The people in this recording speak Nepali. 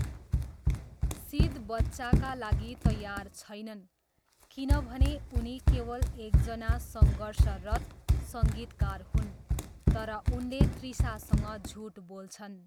सिद बच्चाका लागि तयार छैनन् किनभने उनी केवल एकजना सङ्घर्षरत सङ्गीतकार हुन्, तर उनले तृषासँग झुट बोल्छन्।